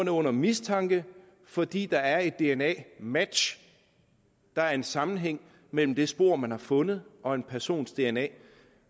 er under mistanke fordi der er et dna match der er en sammenhæng mellem det spor man har fundet og en persons dna